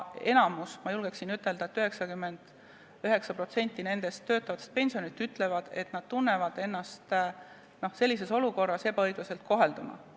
Enamik, ma julgen öelda, et 99% töötavatest pensionäridest ütlevad, et nad tunnevad ennast sellises olukorras ebaõiglaselt kohelduna.